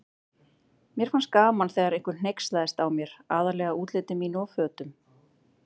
Mér fannst gaman þegar einhver hneykslaðist á mér, aðallega útliti mínu og fötum.